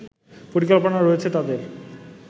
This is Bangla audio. পরিকল্পনা রয়েছে তাদের